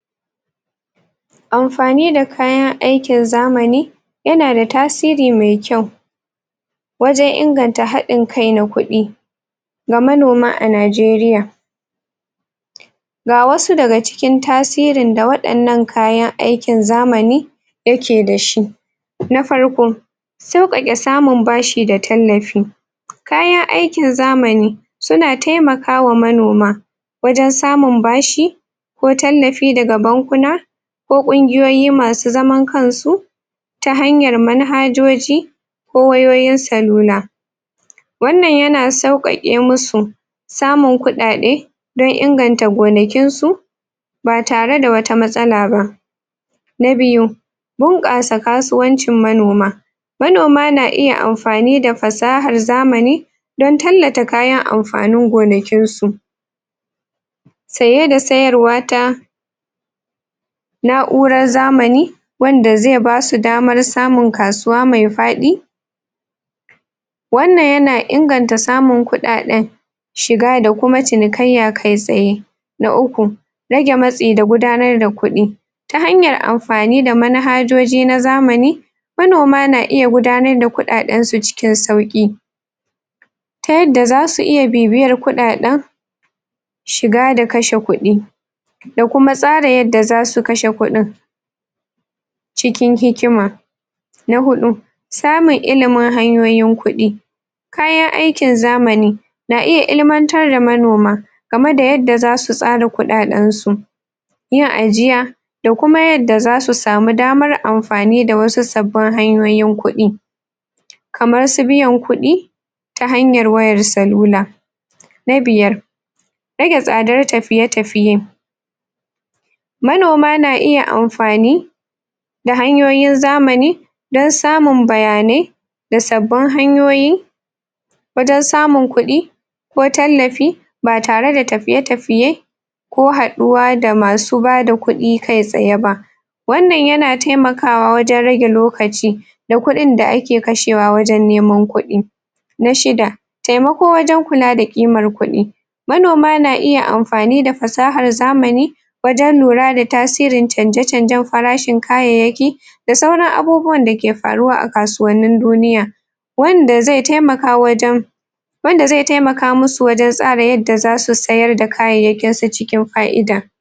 Amfani da kayan aikin zamani yana da tasiri mai kyau wajen inganta haɗin kai na kuɗi ga manoma a Najeriya ga wasu daga cikin tasirin da waɗannan kayan aikin zamani yake da shi na farko, sauƙaƙe samun bashi da tallafi kayan aikin zamani suna taimakawa manoma wajen samun bashi ko tallafi daga bankuna ko ƙungiyoyi masu zaman kan su ta hanyar manhajoji ko wayoyin cellular wannan yana sauƙaƙe musu samun kuɗaɗe dan inganta gonakin su ba tare da wata matsala ba na biyu, bunƙasa kasuwancin manoma manoma na iya amfani da fasahar zamani dan tallata kayan amfanin gonakin su saye da sayarwa ta na'urar zamani wanda zai basu damar samun kasuwa mai faɗi wannan yana inganta samun kuɗaɗen shiga da kuma cinikayya kai tsaye na uku, rage matsi da gudanar da kuɗi ta hanyar amfani da manhajoji na zamani manoma na iya gudanar da kuɗaɗen su cikin sauƙi ta yadda zasu iya bibiyar kuɗaɗen shiga da kashe kuɗi da kuma tsara yadda zasu kashe kuɗin cikin hikima na huɗu, samun ilimin hanyoyin kuɗi kayan aikin zamani na iya ilmantar da manoma game da yadda zasu tsara kuɗaɗen su yin ajiya da kuma yadda zasu samu damar amfani da wasu sabbin hanyoyin kuɗi kamar su biyan kuɗi ta hanyar wayar cellular na biyar, rage tsadar tafiye-tafiye manoma na iya amfani da hanyoyin zamani dan samun bayanai da sabbin hanyoyi wajen samun kuɗi ko tallafi ba tare da tafiye-tafiye ko haɗuwa da masu bada kuɗi kai tsaye ba wannan yana taimakawa wajen rage lokaci da kuɗin da ake kashewa wajen neman kuɗi na shida, taimako wajen kula da ƙimar kuɗi manoma na iya amfani da fasahar zamani wajen lura da tasirin canje-canjen farashin kayayyaki da sauran abubuwan da ke faruwa a kasuwannin duniya wanda zai taimaka wajen wanda zai taimaka musu wajen tsara yadda zasu sayar da kayayyakin su cikin fa'ida.